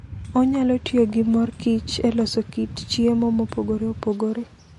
Onyalo tiyo gi mor kich e loso kit chiemo mopogore opogore.